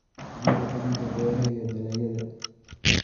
Xoojinta Dhaqanka Beeraha iyo Dalagyada.